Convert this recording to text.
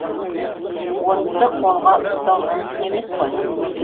отты қолға ұстау мүмкін емес қой